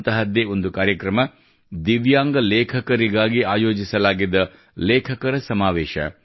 ಅಂತಹದ್ದೇ ಒಂದು ಕಾರ್ಯಕ್ರಮ ದಿವ್ಯಾಂಗ ಲೇಖಕರಿಗಾಗಿ ಆಯೋಜಿಸಲಾಗಿದ್ದ ಲೇಖಕರ ಸಮಾವೇಶ